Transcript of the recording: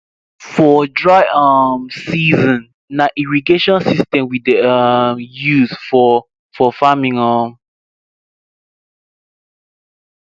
for dry um season na irrigation system we dey um use for for farming um